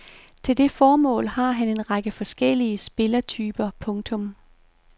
Til det formål har han en række forskellige spillertyper. punktum